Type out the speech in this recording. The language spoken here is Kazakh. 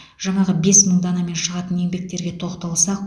жаңағы бес мың данамен шығатын еңбектерге тоқталсақ